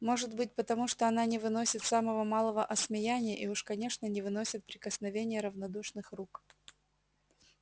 может быть потому что она не выносит самого малого осмеяния и уж конечно не выносит прикосновения равнодушных рук